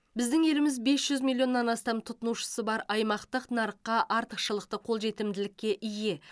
біздің еліміз бес жүз миллионнан астам тұтынушысы бар аймақтық нарыққа артықшылықты қолжетімділікке ие